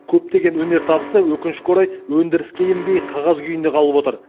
көптеген өнертабысы өкінішке орай өндіріске енбей қағаз күйінде қалып отыр